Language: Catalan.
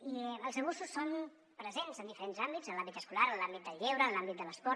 i els abusos són presents en diferents àmbits en l’àmbit escolar en l’àmbit del lleure en l’àmbit de l’esport